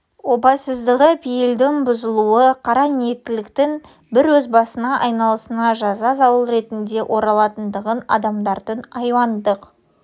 опасыздығы пейілдің бұзылуы қара ниеттіліктің бір өз басына айналасына жаза зауал ретінде оралатындығын адамдардың аюуандық